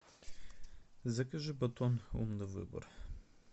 закажи батон умный выбор